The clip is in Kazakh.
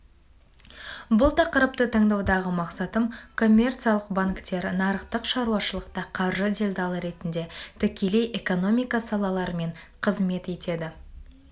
бұл тақырыпты таңдаудағы мақсатым коммерциялық банктер нарықтық шаруашылықта қаржы делдалы ретінде тікелей экономика салаларымен қызмет етеді